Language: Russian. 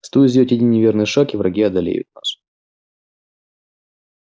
стоит сделать один неверный шаг и враги одолеют нас